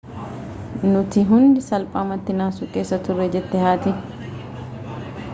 nuti hundi salphaamatti naasuu keessa turre jette haati